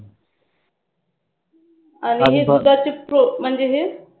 आणि दुधाचे ठोक म्हणजे हे